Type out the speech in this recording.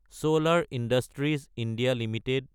চলাৰ industries India Ltd